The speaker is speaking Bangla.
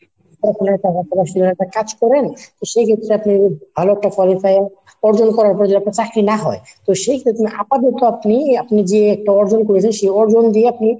পড়াশুনার পাশাপাশি আপনি যদি একটা কাজ করেন সেক্ষেত্রে আপনি ভালো একটা qualify অর্জন করার পরে যদি আপনার চাকরি না হয় তো সেক্ষেত্রে আপাততো আপনি আপনি যে একটা অর্জন করেছেন সে অর্জন দিয়া আপনি